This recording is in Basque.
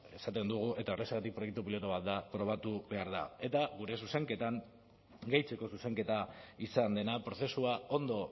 esaten dugu eta horrexegatik proiektu pilotu bat da probatu behar da eta gure zuzenketan gehitzeko zuzenketa izan dena prozesua ondo